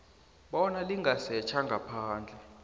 bona lingasetjha ngaphandle